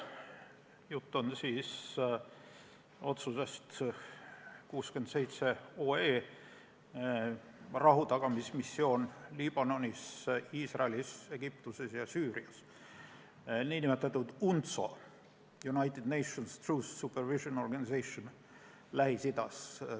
Jutt on otsuse eelnõust 67, rahutagamismissioon Liibanonis, Iisraelis, Egiptuses ja Süürias, nn UNTSO Lähis-Idas.